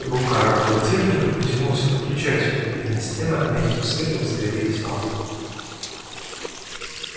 рука роботехника потянулась к выключателю и на стенах мягким светом загорелись лампы